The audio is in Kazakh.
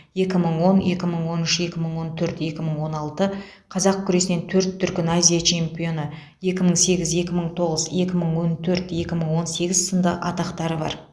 екі мың он екі мың он үш екі мың он төрт екі мың он алты қазақ күресінен төрт дүркін азия чемпионы екі мың сегіз екі мың тоғыз екі мың он төрт екі мың он сегіз сынды атақтары бар